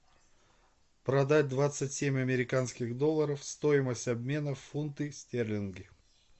продать двадцать семь американских долларов стоимость обмена в фунты стерлинги